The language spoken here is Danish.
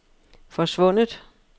forsvundet